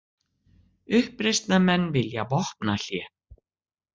Uppreisnarmenn vilja vopnahlé